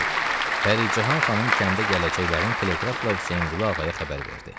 Pəricahan xanım kəndə gələcəklərini teleqrafla Hüseynqulu ağaya xəbər verdi.